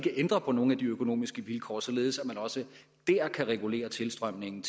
ændre på nogle af de økonomiske vilkår således at man også der kan regulere tilstrømningen